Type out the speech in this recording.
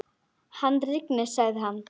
Hann rignir, sagði hann.